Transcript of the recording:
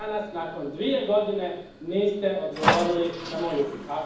Do dana danas, nakon dvije godine, niste odgovorili na moj upit.